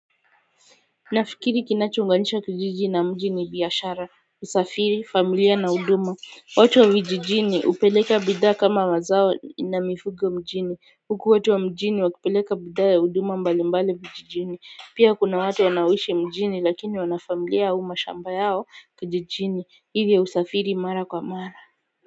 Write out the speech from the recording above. Nafikiri kinachounganisha kijiji na mji ni biashara, usafiri, familia na huduma, watu wa vijijini hupeleka bidhaa kama mazao na mifugo mjini, huku watu wa mjini wakipeleka bidhaa ya huduma mbali mbali vijijini, pia kuna watu wanaoishi mjini lakini wanafamilia au mashamba yao kijijini, hivyo husafiri mara kwa mara.